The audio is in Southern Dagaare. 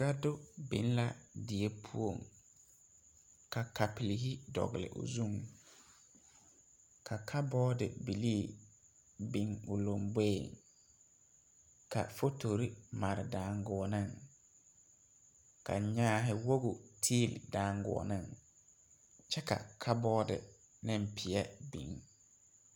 Gado biŋ la did poɔŋ ka kapurehi dɔgle o zu ka kabɔɔde bilii biŋ kolluu ka fotorre mare daaguuɔneŋ ka nyaahi woge tilli daaguuɔɔneŋ kyɛ ka kabɔɔde neŋ peɛ biŋ.